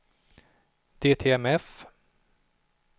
DTMF